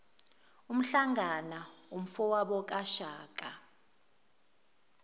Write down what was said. umhlangana umfowabo kashaka